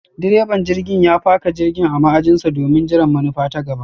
direban jirgin ya faka jirgin a ma'ajin sa domin jiran manufa ta gaba.